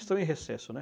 Estão em recesso, né?